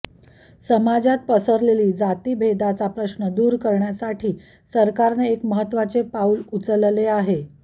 समाजात पसरलेली जातीभेदाचा प्रश्न दूर करण्यासाठी सरकारने एक महत्वाचे पाऊल उचलले आहे